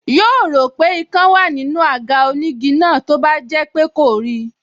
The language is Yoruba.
Yóò rò pé ikán wá nínú àga onígi náà tó bá jẹ́ pé kò rí i